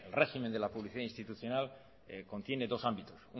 régimen de la publicidad institucional contiene dos ámbitos